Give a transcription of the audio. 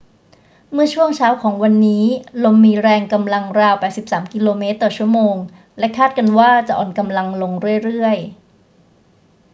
เมื่อช่วงเช้าของวันนี้ ลมมีแรงกำลังราว 83 กม./ชม. และคาดกันว่าจะอ่อนกำลังลงเรื่อย ๆ